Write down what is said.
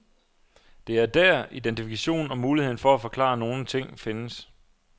Det er der, identifikationen og muligheden for at forklare nogle ting findes.